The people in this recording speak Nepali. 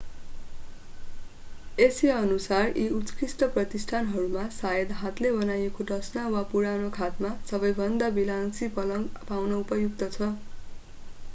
यसैअनुसार यी उत्कृष्ट प्रतिष्ठानहरूमा शायद हातले बनाएको डसना वा पुरानो खाटमा सबैभन्दा विलासी पलङ्ग पाउन उपयुक्त छ